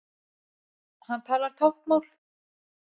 Hann talar táknmál.